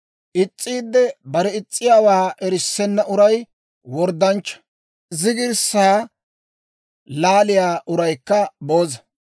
Is's'iidde bare is's'iyaawaa erissenna uray worddanchcha; zigirssaa laaliyaa uraykka booza.